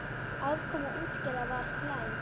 Afkoma útgerða var slæm.